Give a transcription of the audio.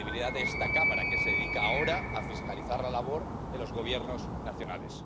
La credibilidad de esta Cámara, que se dedica ahora a fiscalizar la labor de los gobiernos nacionales.